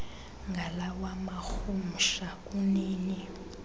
ngalawa marhumsha kunini